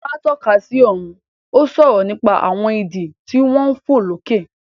Lará tọ́ka sí ọ̀run, ó ń sọ̀rọ̀ nípa àwọn idì tí wọ́n ń fò lókè.